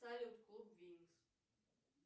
салют клуб винкс